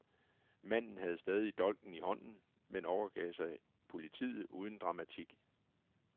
Manden havde stadig dolken i hånden, men overgav sig politiet uden dramatik.